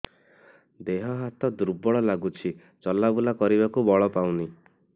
ଦେହ ହାତ ଦୁର୍ବଳ ଲାଗୁଛି ଚଲାବୁଲା କରିବାକୁ ବଳ ପାଉନି